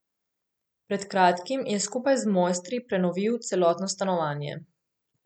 Pred kratkim je skupaj z mojstri prenovil celotno stanovanje.